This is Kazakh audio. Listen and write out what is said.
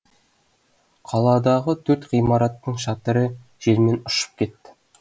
қаладағы төрт ғимараттың шатыры желмен ұшып кетті